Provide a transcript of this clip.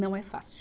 Não é fácil.